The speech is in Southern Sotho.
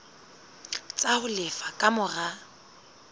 tsa ho lefa ka mora